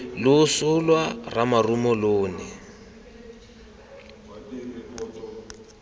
loso lwa ramarumo lo ne